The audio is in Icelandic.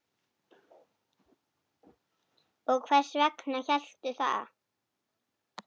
Og hvers vegna hélstu það?